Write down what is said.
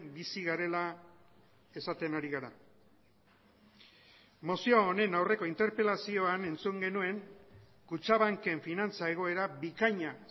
bizi garela esaten ari gara mozio honen aurreko interpelazioan entzun genuen kutxabanken finantza egoera bikaina